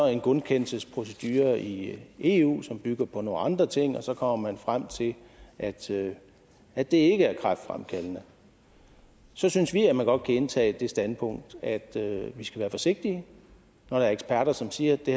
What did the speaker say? en godkendelsesprocedure i eu som bygger på nogle andre ting og så kommer man frem til at til at det ikke er kræftfremkaldende så synes vi at man godt kan indtage det standpunkt at vi skal være forsigtige når der er eksperter som siger at det